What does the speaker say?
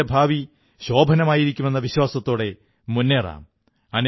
രാജ്യത്തിന്റെ ഭാവി ശോഭനമായിരിക്കുമെന്ന വിശ്വാസത്തോടെ മുന്നേറാം